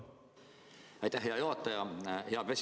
Aitäh, hea juhataja!